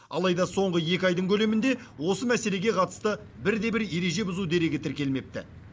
алайда соңғы екі айдың көлемінде осы мәселеге қатысты бірде бір ереже бұзу дерегі тіркелмепті